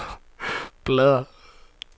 bladr